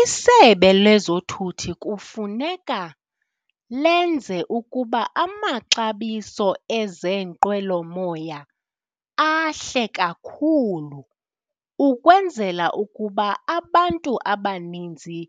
ISebe leZothutho kufuneka lenze ukuba amaxabiso ezeenqwelomoya ahle kakhulu ukwenzela ukuba abantu abaninzi